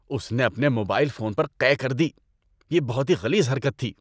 اس نے اپنے mobile phone پر قے کر دی۔ یہ بہت ہی غلیظ حرکت تھی۔